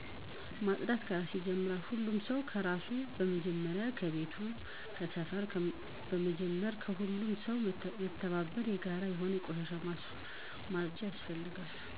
ማፅዳት ከራስ ይጀምራል ሁሉም ሰው ከራሱ በመጀመር ከቤት ከሰፈር በመጀመር ሁሉም ሰው በመተባበር የጋራ የሆኑ ቆሻሻዎች ማፅዳት ያስፈልጋል።